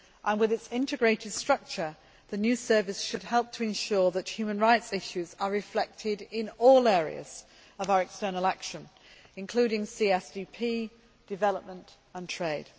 With its integrated structure, the new Service should help to ensure that human rights issues are reflected in all areas of our external action, including CSDP, development and trade.